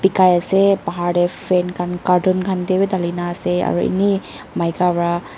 paikai ase bahar tey fan khan carton khan tey b thali kena ase ene maika para--